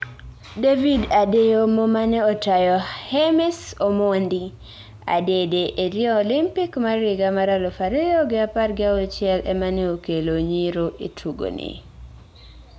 David Adeyomo mane otayo Hames Omondo Adede e Rio Olympic mar higa mar aluf ariyo gi apar gi auchiel emane okelo Nyiro etugoni